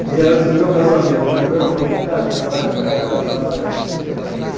Um dia antes do meu casamento, minha mulher falou, não caso mais, não quero casar, não sei o que lá que.